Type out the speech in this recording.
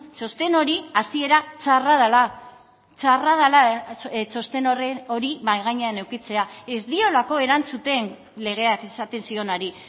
txosten hori hasiera txarra dela txarra dela txosten hori mahai gainean edukitzea ez diolako erantzuten legeak esaten zionari